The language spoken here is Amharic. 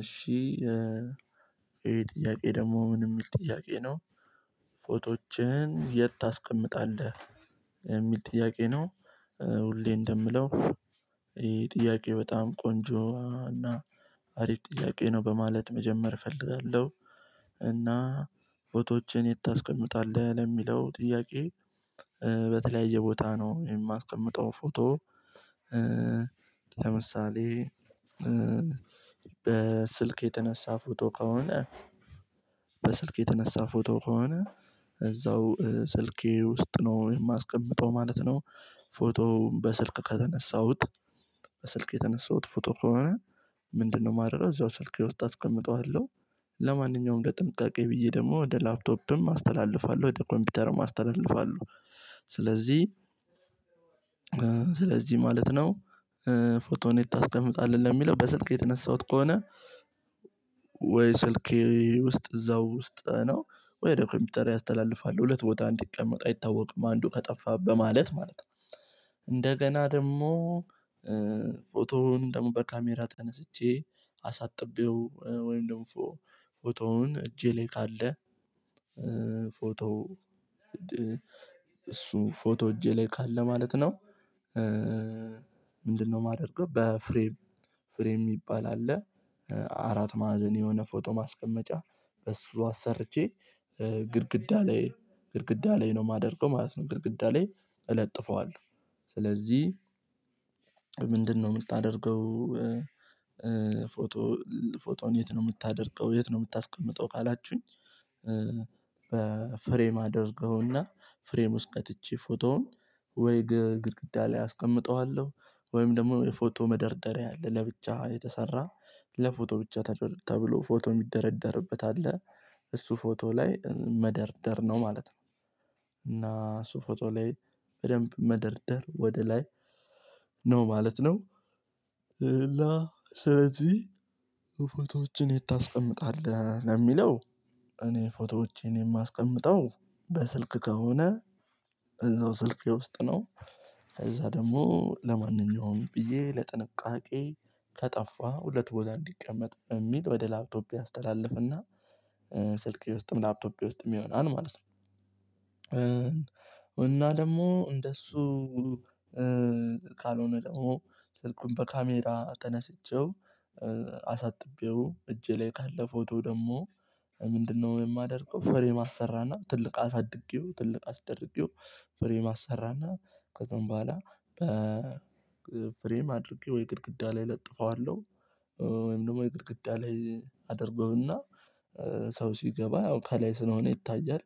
እሺ ይሄ ጥያቄ ደግሞ ምንም የሚል ጥያቄ ነው። ፎቶዎችን የት ታስቀምጣለህ? የሚል ጥያቄ ነው። ሁሌ እንደምለው ይሄ ጥያቄ በጣም ቆንጆ እና አሪፍ ጥያቄ ነው በማለት መጀመር እፈልጋለሁ። እና ፎቶዎችን የት ታስቀምጣለህ ለሚለው ጥያቄ በተለያየ ቦታ ነው የማስቀምጠው ፎቶ። ለምሳሌ በስልክ የተነሳ ፎቶ ከሆነ በስልክ የተነሳ ፎቶ ከሆነ። እዛው ስልኬ ውስጥ ነው የማስቀምጠው ማለት ነው። ፎቶውን በስልክ ከተነሳሁት በስልክ የተነሳሁት ፎቶ ከሆነ ምንድነው ማደርገው እዛው ስልኬ ውስጥ አስቀምጠዋለሁ። ለማንኛውም ለጥንቃቄ ብዬ ደግሞ ወደ ላፕቶፕም አስተላልፋለሁ ወደ ኮምፒውተርም አስተላልፋለሁ። ስለዚህ ስለዚህ ማለት ነው። ፎቶ የት ታስቀምጣለህ የሚለው በስልክ የተነሳሁት ከሆነ። ወይ ስልኬ ውስጥ እዛው ውስጥ ነው። ወይ ወደ ኮምፒውተሬ አስተላልፋለሁ ሁለት ቦታ እንዲቀመጥ አይታወቅም አንዱ ከጠፋ በማለት ማለት ነው። እንደገና ደግሞ ፎቶውን ደግሞ በካሜራ ተነስቼ አሳጥቤው ወይም ደግሞ ፎቶውን እጄ ላይ ካለ ፎቶ እሱ ፎቶ እጄ ላይ ካለ ማለት ነው። ምንድነው የማደርገው በፍሬም ፍሬም የሚባል አለ። አራት ማዕዘን የሆነ ፎቶ ማስቀመጫ በሱ አሰርቼ ግድግዳ ላይ ግድግዳ ላይ ነው የማደርገው ማለት ነው ግድግዳ ላይ እለጥፈዋለሁ። ስለዚህ ምንድነው የምታደርገው? ፎቶ ፎቶን የት ነው የምታደርገው የት ነው የምታስቀምጠው ካላችሁኝ በፍሬም አድርገውና ፍሬም ውስጥ ከትቼ ፎቶውን ወይ ግድግዳ ላይ አስቀምጠዋለሁ። ወይም ደግሞ የፎቶ መደርደሪያ አለ ለብቻ የተሰራ ለፎቶ ብቻ ተብሎ ፎቶ የሚደረደርበት አለ። እሱ ፎቶ ላይ መደርደር ነው ማለት ነው። እና እሱ ፎቶ ላይ በደንብ መደርደር ወደ ላይ ነው ማለት ነው። ስለዚህ ፎቶዎችን የት ታስቀምጣለህ ለሚለው እኔ ፎቶዎቼን የማስቀምጠው በስልክ ከሆነ እዛው ስልኬ ውስጥ ነው። እዛ ደግሞ ለማንኛውም ብዬ ለጥንቃቄ ከጠፋ ሁለት ቦታ እንዲቀመጥ በሚል ወደ ላፕቶፔ አስተላልፍና። ስልኬ ውስጥም ላፕቶፔ ውስጥም ይሆናል ማለት ነው። እና ደግሞ እንደሱ ካልሆነ ደግሞ ስልኩን በካሜራ ተነስቼው አሳጥቤው እጄ ላይ ካለ ፎቶ ደግሞ ምንድነው የማደርገው ፍሬም አሰራና ትልቅ አሳድጌው ትልቅ አስደርጌው ፍሬም አሰራና ከዛም በኋላ በፍሬም አድርጌ ወይ ግድግዳ ላይ ለጥፈዋለሁ። ወይም ደግሞ የግድግዳ ላይ አደርገውና ሰው ሲገባ ያው ከላይ ስለሆነ ይታያል።